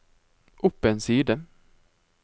opp en side